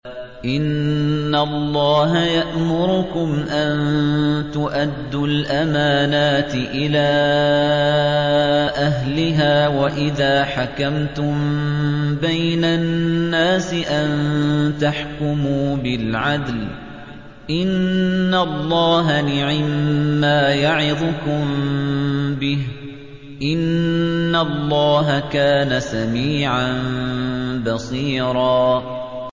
۞ إِنَّ اللَّهَ يَأْمُرُكُمْ أَن تُؤَدُّوا الْأَمَانَاتِ إِلَىٰ أَهْلِهَا وَإِذَا حَكَمْتُم بَيْنَ النَّاسِ أَن تَحْكُمُوا بِالْعَدْلِ ۚ إِنَّ اللَّهَ نِعِمَّا يَعِظُكُم بِهِ ۗ إِنَّ اللَّهَ كَانَ سَمِيعًا بَصِيرًا